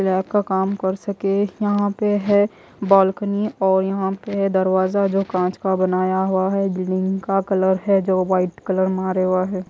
Lab का काम कर सके यहां पे है बालकनी और यहां पे है दरवाजा जो कांच का बनाया हुआ है बिल्डिंग का कलर है जो वाइट कलर मारे हुआ है।